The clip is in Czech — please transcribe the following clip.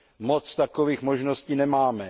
Moc takových možností nemáme.